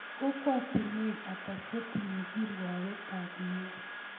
Kokwatinek ata chetinye kirwoget ab meet